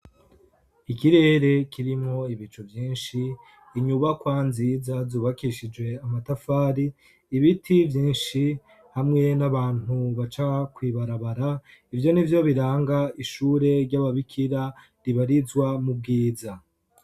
Ikirere kirimwo ibicu vyinshi, inyubakwa nziza zubakishije amatafari, ibiti vyinshi hamwe n'abantu baca kw'ibarabara, ivyo ni vvyo biranga ishure ry'ababikira ribarizwa mu bwiza.